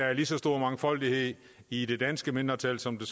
er lige så stor mangfoldighed i det danske mindretal som